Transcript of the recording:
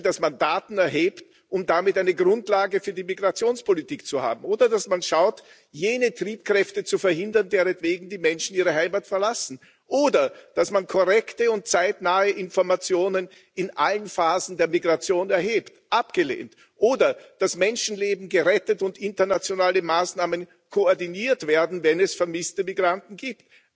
Zum Beispiel, dass man Daten erhebt, um damit eine Grundlage für die Migrationspolitik zu haben, oder dass man schaut, jene Triebkräfte zu verhindern, deretwegen die Menschen ihre Heimat verlassen, oder dass man korrekte und zeitnahe Informationen in allen Phasen der Migration erhebt abgelehnt, ebenso wie, dass Menschenleben gerettet und internationale Maßnahmen koordiniert werden, wenn es vermisste Migranten gibt.